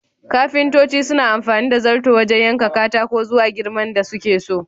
Kafintoci suna amfani da zarto wajan yanka katako zuwa girman da suke so